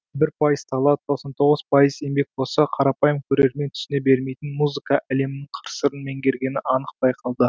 бір пайыз талант тоқсан тоғыз пайыз еңбек болса қарапайым көрермен түсіне бермейтін музыка әлемінің қыр сырын меңгергені анық байқалды